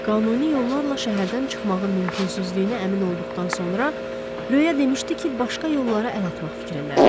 Qanuni yollarla şəhərdən çıxmağın mümkünsüzlüyünə əmin olduqdan sonra, Röya demişdi ki, başqa yollara əl atmaq fikrindədir.